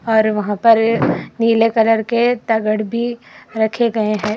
और वहां पर नीले कलर के तगड़ भी रखे गए हैं।